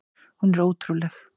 Hún er ótrúleg!